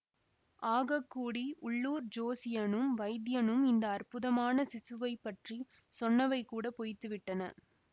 ஆகக்கூடி உள்ளூர் ஜோசியனும் வைத்தியனும் இந்த அற்புதமான சிசுவைப் பற்றி சொன்னவை கூட பொய்த்துவிட்டன